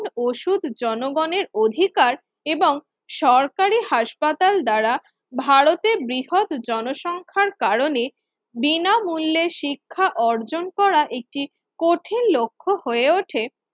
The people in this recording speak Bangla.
ওষুধ জনগণের অধিকার এবং সরকারি হাসপাতাল দ্বারা ভারতে বৃহৎ জনসংখ্যার কারণে বিনামূল্যে শিক্ষা অর্জন করা একটি কঠিন লক্ষ হয়ে ওঠে।